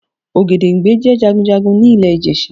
Ògèdèngbé jẹ́ Jagunjagun ni ilè Ìjẹ̀ṣà